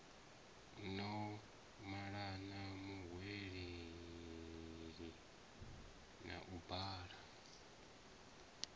no malana muhweleli a bula